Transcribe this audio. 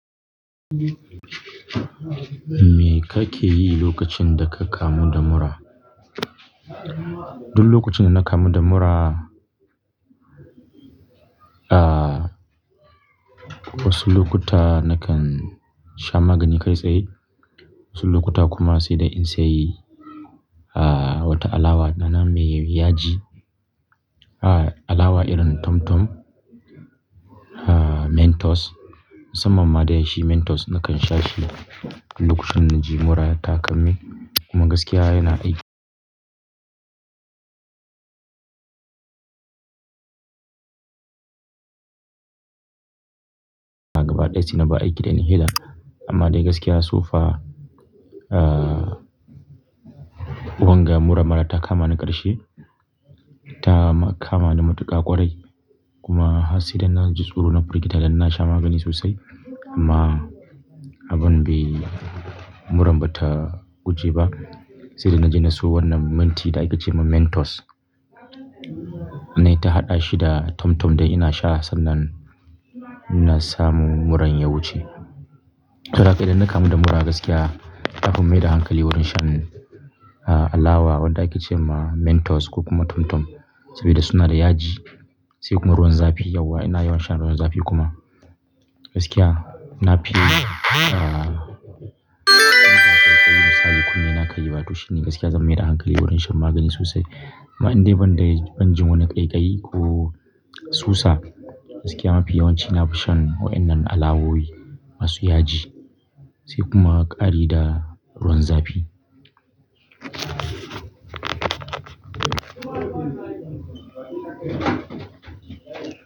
Me kake yi lokacin da ka kamu da mura? Duk lokacin da na kamu da mura, ah, wasu lokuta nakan sha magani kai tsaye. Wasu lokuta kuma sai da in sayi, ah, wata alawa tana nan mai yaji. Alawa irin tum tum, ah, Mentos. Musamman ma dai shi Mentos nakan sha shi duk lokacin da na ji mura ta kamni. Kuma gaskiya yana aiki. Na gaba ɗaya suna ba aiki da inhila. Amma dai gaskiya suka, ah, wanga mura mara ta kama ni ƙarshe. Ta kama ni matuƙa ƙwarai. Kuma har sai da na ji tsoro na firgita da na sha magani sosai. Amma abun bai, muran bata wuce ba. Sai da na je na siyo wannan minti da ake cewa Mentos. Nai ta haɗa shi da tum tum dai ina sha sannan na samu muran ya wuce. To haka idan na kamu da mura gaskiya na fi mayar da hankali wurin shan alawa wadda ake ce ma Mentos ko kuma tum tum. Saboda suna da yaji sai kuma ruwan zafi yawa. Ina yawan shan ruwan zafi kuma. Gaskiya na fi, ah, in ba kai tsaye misali kunne na ka yi ba to shine gaskiya zan mayar da hankali wurin shan magani sosai. Amma indai ban, ban jin wannan ƙaiƙayi ko susa, gaskiya mafi yawanci na fi shan waɗannan alawowi masu yaji. Sai kuma ƙari da ruwan zafi.